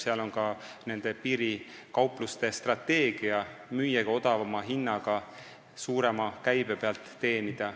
Selle taga on ka piirikaupluste strateegia müüagi odavama hinnaga, et suurema käibe pealt teenida.